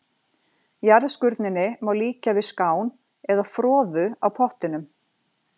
Jarðskurninni má líkja við skán eða froðu á pottinum.